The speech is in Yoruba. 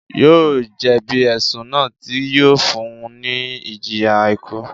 Yóò jẹ̀bi ẹ̀sùn náà tí yóò fún un ní ìjìyà ikú